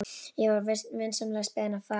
Ég var vinsamlegast beðinn að fara.